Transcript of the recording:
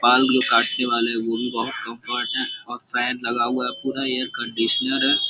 बाल को काटने वाले वो भी बोहोत कम्फर्ट है और फैन लगा हुआ है पूरा एयर कन्डिशनर है।